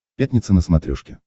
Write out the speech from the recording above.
пятница на смотрешке